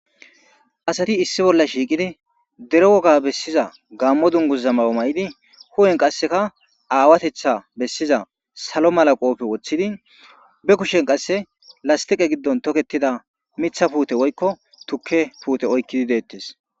Asati issi bolla shiiqidi dero woga bessiza gammo dunguza ma7o na7idi hu7en qaseka aawatetha bessiza salo mala qoobe woththidi be kushen qasse lastiqe giddon toketida mitha puute woykko tukke puute oykkidi deettes.